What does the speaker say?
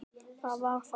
Það var það.